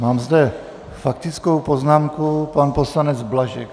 Mám zde faktickou poznámku, pan poslanec Blažek.